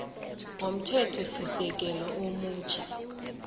womthethosisekelo omutjha tw